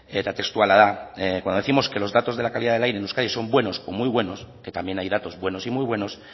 eta testuala da que los datos de la calidad del aire en euskadi son buenos o muy buenos que también hay datos buenos y muy buenos